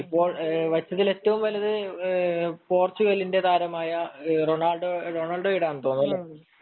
ഇപ്പോൾ വെച്ചതിൽ ഏറ്റവും വലുത് പോർട്ടുഗൽ താരമായ റൊണാള്ഡോയുടേതാണ് എന്ന് തോന്നുന്നു